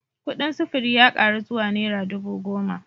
Kudin sufuri ya karu zuwa naira dubu goma